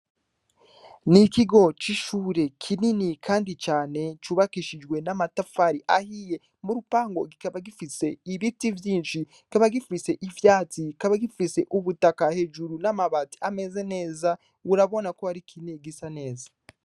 Ni ikigo c' ishure kinini kandi cane cubakishijwe n' amatafari ahiye mu rupangu kikaba gifise ibiti vyinshi kikaba gifise ivyatsi kikaba gifise umutaka n' amabati ameze neza urabona ko ari ikintu gisa neza.